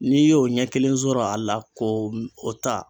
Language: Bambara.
N'i y'o ɲɛ kelen sɔrɔ a la ko o ta